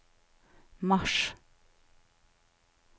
mars